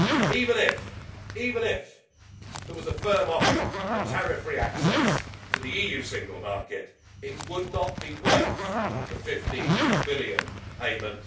Even if there was a firm offer of tariff free access to the EU single market, it would not be worth the EUR 50 billion payment.